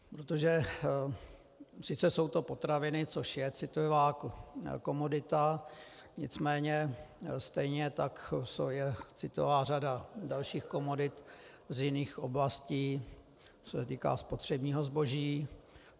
Protože sice jsou to potraviny, což je citlivá komodita, nicméně stejně tak je citlivá řada dalších komodit z jiných oblastí, co se týká spotřebního zboží.